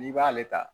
N'i b'ale ta